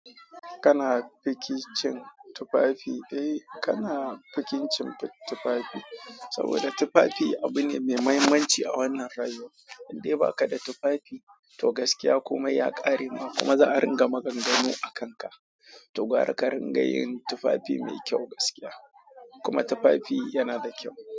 Kana fiki cin tufafi? Eh, kana fikin cin tufafi saboda tufafi abu ne mai mahimmanci a wannan rayuwa. In dai baka da tufafi, to gaskiya komai ya ƙare ma kuma za a ringa maganganu a kanka. To gwara ka ringa yin tufafi mai kyau gaskiya kuma tufafi yanada kyau.